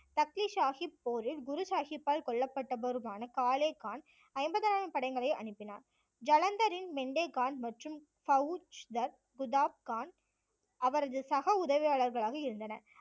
தக்லிஷ் சாஹிப் போரில் குரு சாஹிப்பால் கொல்லப்பட்டவருமான காலே கான் ஐம்பதாயிரம் படைகளை அனுப்பினார், ஜலந்தரின் பெண்டே கான் மற்றும் பவுச் தர், குத்தாப் கான் அவரது சக உதவியாளர்களாக இருந்தனர்